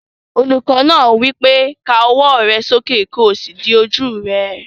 Olùkọ́ náà wí pé, "Ká ọwọ́ rẹ sókè kí o sì di ojú rẹ!"